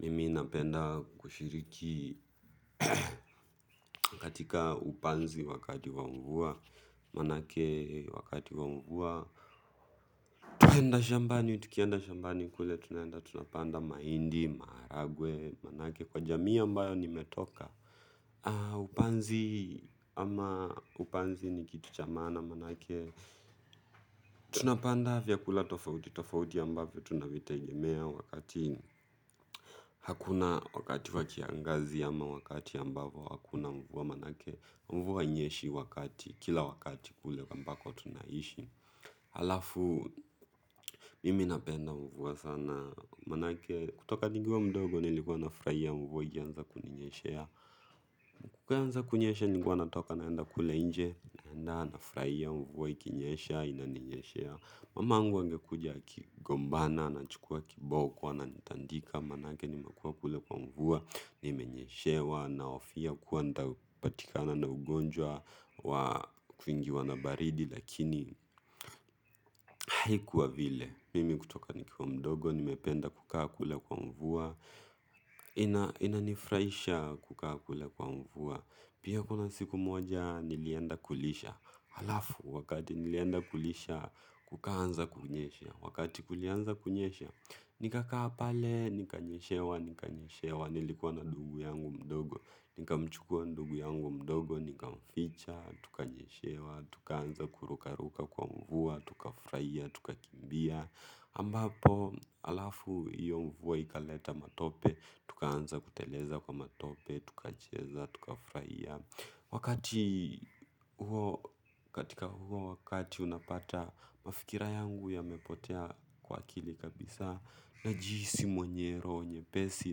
Mimi napenda kushiriki katika upanzi wakati wa mvua manake wakati wa mvua. Twaenda shambani, tukienda shambani kule, tunaenda tunapanda mahindi, maharagwe, manake kwa jamii ambayo nimetoka upanzi ama upanzi ni kitu cha maana, manake tunapanda vyakula tofauti tofauti ambapo tunavitegemea wakati hakuna wakati wa kiangazi ama wakati ambapo hakuna mvua manake mvua inyeshi wakati, kila wakati kule ambako tunaishi halafu, mimi napenda mvua sana manake kutoka nikiwa mdogo nilikuwa nafurahia mvua ikianza kuninyeshea. Ikianza kunyesha nilikuwa natoka naenda kule nje, naenda nafurahia mvua ikinyesha inaninyeshea mamangu angekuja akigombana anachukua kiboko ananitandika, manake nimekuwa kule kwa mvua nimenyeshewa nahofia kuwa nitapatikana na ugonjwa wa kuingiwa na baridi lakini haikuwa vile, mimi kutoka nikiwa mdogo, nimependa kukaa kule kwa mvua inanifurahisha kukaa kule kwa mvua pia kuna siku moja nilienda kulisha halafu, wakati nilienda kulisha, kukaanza kunyesha wakati kulianza kunyesha, nikakaa pale, nikanyeshewa, nikanyeshewa nilikuwa na ndugu yangu mdogo, nikamchukua ndugu yangu mdogo. Nikamficha, tukanyeshewa, tukaanza kurukaruka kwa mvua, tukafurahia, tukakimbia ambapo, halafu, hiyo mvua ikaleta matope, tukaanza kuteleza kwa matope, tukacheza, tukafurahia wakati huo katika huo wakati unapata mafikira yangu yamepotea kwa akili kabisa najihisi mwenye roho nyepesi,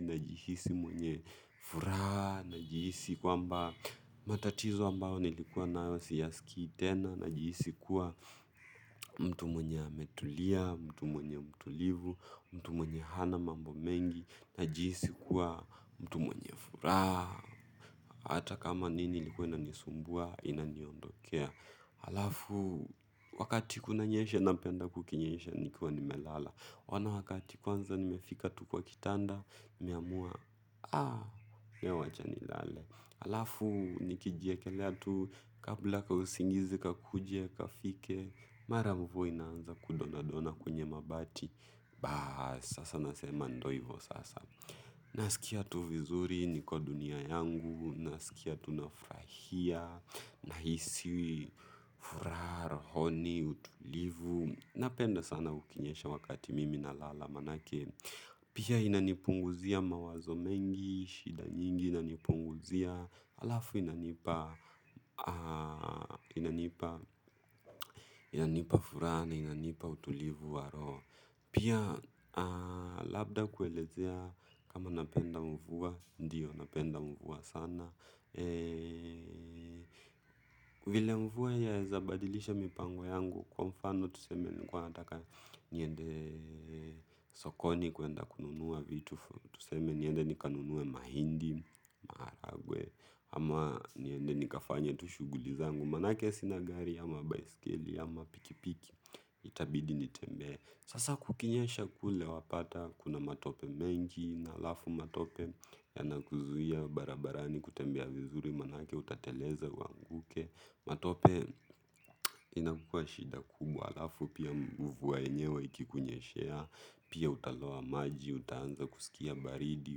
najihisi mwenye furaha najihisi kwamba matatizo ambao nilikuwa nayo siyaskii tena najihisi kuwa mtu mwenye ametulia, mtu mwenye mtulivu, mtu mwenye hana mambo mengi najihisi kuwa mtu mwenye furaha hata kama nini ilikuwa inanisumbua, inaniondokea. Halafu, wakati kunanyeshe napenda kukinyesha nikiwa nimelala. Wana wakati kwanza nimefika tu kwa kitanda, nimeamua, aah, we wacha nilale. Halafu, nikijiekelea tu, kabla kausingizi, kakuje, kafike, mara mvua inaanza kudona dona kwenye mabati. Baas, sasa nasema ndo ivo sasa. Nasikia tu vizuri niko dunia yangu, nasikia tu nafurahia, nahisi furaha, rohoni, utulivu napenda sana ukinyesha wakati mimi nalala manake pia inanipunguzia mawazo mengi, shida nyingi, inanipunguzia halafu inanipa furaha na inanipa utulivu wa roho pia labda kuelezea kama napenda mvua, ndiyo napenda mvua sana vile mvua inaweza badilisha mipango wangu kwa mfano tuseme nilikuwa nataka niende sokoni kuenda kununuwa vitu tuseme niende nikanunue mahindi, maharagwe ama niende nikafanye tushughuli zangu manake sina gari, ama baiskeli, ama pikipiki itabidi nitembee sasa kukinyesha kule wapata kuna matope mengi halafu matope yanakuzuia barabarani kutembea vizuri manake utateleza uanguke. Matope inakuwa shida kubwa halafu pia mvua enyewe ikikunyeshea pia utaloa maji utaanza kusikia baridi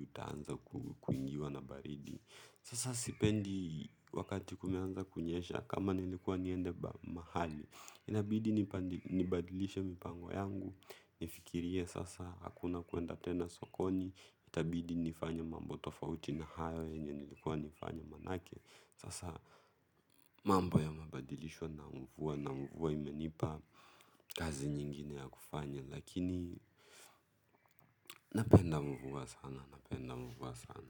utaanza kuingiwa na baridi sasa sipendi wakati kunaanza kunyesha kama nilikuwa niende mahali inabidi nibadilishe mipango yangu nifikirie sasa hakuna kuenda tena sokoni itabidi nifanye mambo tofauti na hayo yenye nilikuwa nifanya manake sasa mambo yamebadilishwa na mvua na mvua imenipa kazi nyingine ya kufanya lakini napenda mvua sana.